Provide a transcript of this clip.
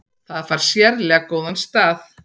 Það fær sérlega góðan stað.